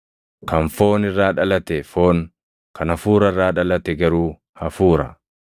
Kan foon irraa dhalate foon; kan Hafuura irraa dhalate garuu hafuura.